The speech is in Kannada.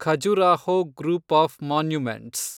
Khajuraho group of monuments